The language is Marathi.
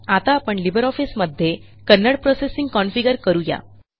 आता आपण लिबर ऑफिसमध्ये कन्नडा प्रोसेसिंग कॉन्फिगर करू या